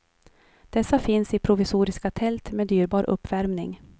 Dessa finns i provisoriska tält med dyrbar uppvärmning.